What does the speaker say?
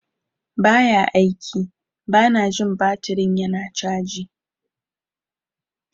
Ba ya aiki - Bana jin baturin yana caji.